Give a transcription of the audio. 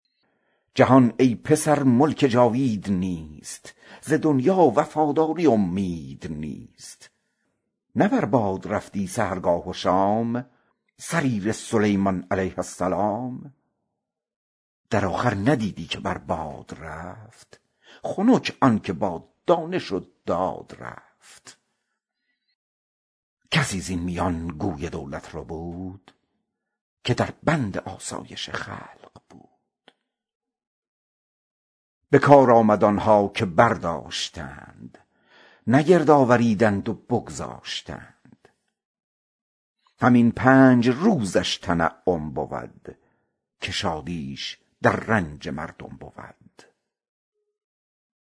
جهان ای پسر ملک جاوید نیست ز دنیا وفاداری امید نیست نه بر باد رفتی سحرگاه و شام سریر سلیمان علیه السلام به آخر ندیدی که بر باد رفت خنک آن که با دانش و داد رفت کسی زین میان گوی دولت ربود که در بند آسایش خلق بود به کار آمد آنها که برداشتند نه گرد آوریدند و بگذاشتند